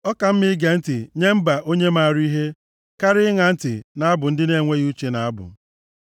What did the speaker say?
Ọ ka mma ige ntị nye mba onye maara ihe karịa ịṅa ntị nʼabụ ndị na-enweghị uche na-abụ.